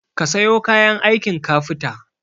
Kasayo kayan aikin kafita